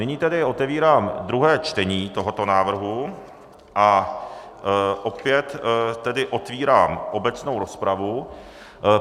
Nyní tedy otevírám druhé čtení tohoto návrhu a opět tedy otevírám obecnou rozpravu.